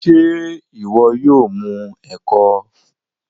ṣe iwọ yóò mu eko?